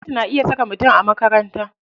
Gwamnati na iya saka mutum a makaranta.